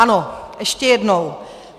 Ano, ještě jednou.